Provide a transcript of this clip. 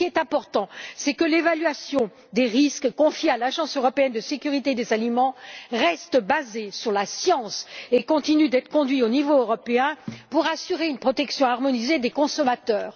Ce qui est important, c'est que l'évaluation des risques, confiée à l'Autorité européenne de sécurité des aliments, reste basée sur la science et continue d'être conduite au niveau européen pour assurer une protection harmonisée des consommateurs.